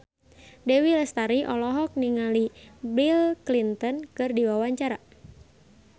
Dewi Lestari olohok ningali Bill Clinton keur diwawancara